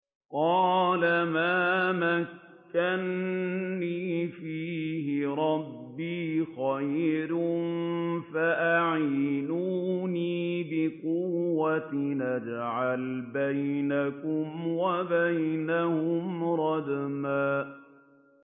قَالَ مَا مَكَّنِّي فِيهِ رَبِّي خَيْرٌ فَأَعِينُونِي بِقُوَّةٍ أَجْعَلْ بَيْنَكُمْ وَبَيْنَهُمْ رَدْمًا